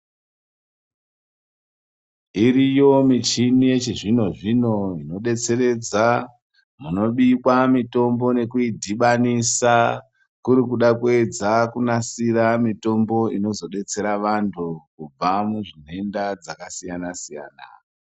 Iriyo muchini yechizvino zvino inodetseredza munobikwa mitombo nekuyidhibanisa kuri kuda kuyedza kunasira mitombo inozodetsera vantu kubva muzvidenta zvakasiya siyana.